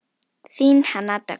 Þín Hanna Dögg.